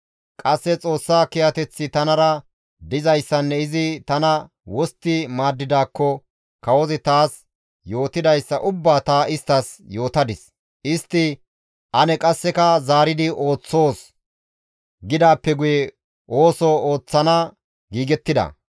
Qasse Xoossa kiyateththi tanara dizayssanne izi tana wostti maaddidaakko kawozi taas yootidayssa ubbaa ta isttas yootadis; Istti «Ane qasseka zaari ooththoos!» gidaappe guye, ooso ooththana giigettida.